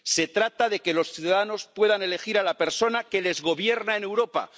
Se trata de que los ciudadanos puedan elegir a la persona que les gobierna en Europa